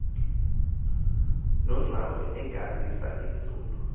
nocwangco ingazisa inzolo